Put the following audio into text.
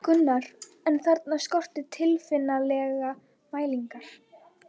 Gunnar, en þarna skorti tilfinnanlega mælingar.